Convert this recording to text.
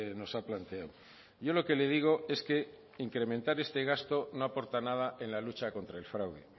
nos ha planteado yo lo que le digo es que incrementar este gasto no aporta nada en la lucha contra el fraude